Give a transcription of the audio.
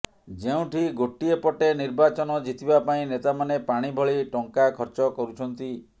ଯେଉଁଠି ଗୋଟିଏପଟେ ନିର୍ବାଚନ ଜିତିବା ପାଇଁ ନେତାମାନେ ପାଣି ଭଳି ଟଙ୍କା ଖର୍ଚ୍ଚ କରୁଛନ୍ତି